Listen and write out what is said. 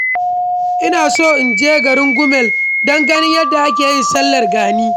Ina so in je garin Gumal don ganin yadda ake yin sallar gani.